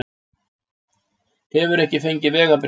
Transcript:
Hefur ekki fengið vegabréf